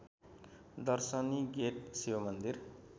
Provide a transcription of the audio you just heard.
दर्शनी गेट शिवमन्दिर